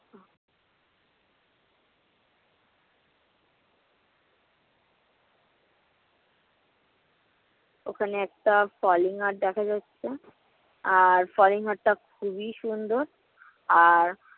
ওখানে একটা falling art দেখা যাচ্ছে। আর falling art টা খুবই সুন্দর আর